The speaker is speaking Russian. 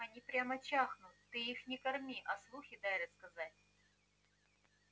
они прямо чахнут ты их не корми а слухи дай рассказать